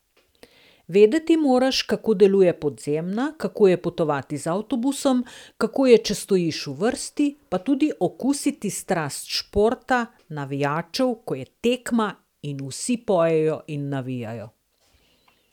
Vedeti moraš, kako deluje podzemna, kako je potovati z avtobusom, kako je, če stojiš v vrsti, pa tudi okusiti strast športa, navijačev, ko je tekma in vsi pojejo in navijajo.